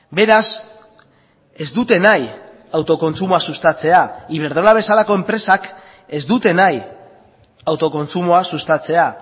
beraz ez dute nahi autokontsumoa sustatzea iberdrola bezalako enpresak ez dute nahi autokontsumoa sustatzea